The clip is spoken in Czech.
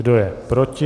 Kdo je proti?